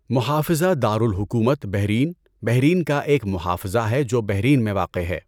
محافظہ دار الحکومت، بحرین، بحرین کا ایک محافظہ ہے جو بحرین میں واقع ہے۔